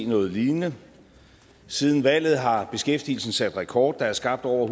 noget lignende siden valget har beskæftigelsen sat rekord der er skabt over